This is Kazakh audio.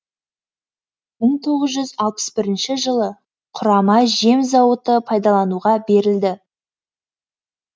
мың тоғыз жүз алпыс бірінші жылы құрама жем зауыты пайдалануға берілді